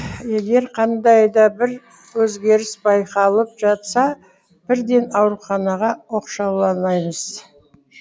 егер қандай да бір өзгеріс байқалып жатса бірден ауруханаға оқшауламаймыз